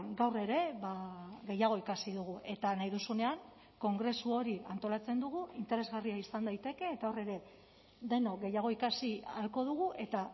gaur ere gehiago ikasi dugu eta nahi duzunean kongresu hori antolatzen dugu interesgarria izan daiteke eta hor ere denok gehiago ikasi ahalko dugu eta